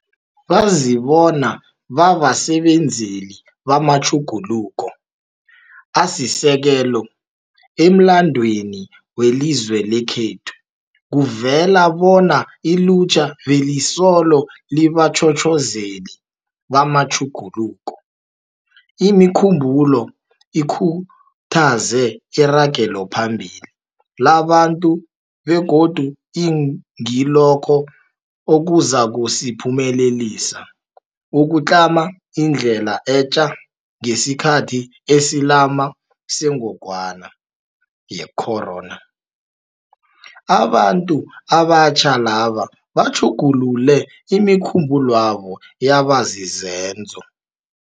Bazibona babasebenzeli bamatjhuguluko asisekelo. Emlandweni welizwe lekhethu kuvela bona ilutjha belisolo libatjhotjhozeli bamatjhuguluko. Imikhumbulo ikhuthaze iragelophambili labantu begodu ingilokho okuzakusiphumelelisa ukutlama indlela etja ngesikhathi esilama sengogwana ye-corona. Abantu abatjha laba batjhugulule imikhumbulwabo yaba zizenzo.